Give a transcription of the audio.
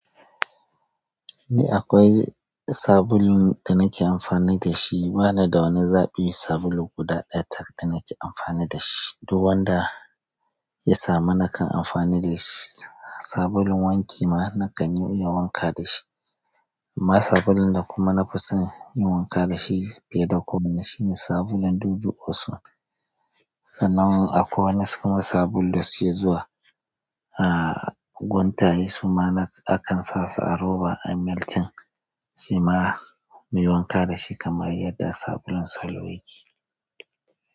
Ni akwai sabulun da nake amfani da shi. Bani da wani zaɓi sabulu guda ɗaya tak da nake amfani dashi, duk wanda ya samu nakan amfani da shi, sabulun wanki ma nakan iya wanka da shi. Amma sabulun da kuma na fi son yin wanka da shi bai da komai shine sabulun dudu osun. Sannan akwai wani kuma sabulu da suke zuwa. A guntaye su ma na akan sa su a roba a meltin. Shima muyi wanka dashi kamar yadda sabulun salo yake.